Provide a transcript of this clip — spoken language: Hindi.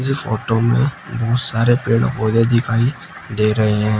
ये फोटो में बहुत सारे पेड़ पौधे दिखाई दे रहे हैं।